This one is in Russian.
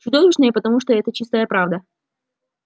чудовищные потому что это чистая правда